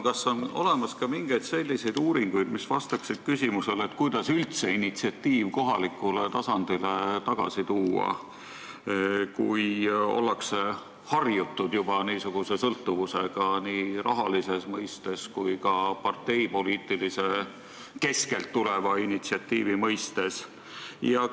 Kas on olemas ka mingeid selliseid uuringuid, mis vastaksid küsimusele, kuidas üldse initsiatiiv kohalikule tasandile tagasi tuua, kui ollakse juba harjunud sõltuvusega nii rahalises kui ka parteipoliitilise ülalt tuleva initsiatiivi mõttes?